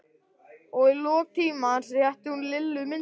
Og í lok tímans rétti hún Lillu myndina.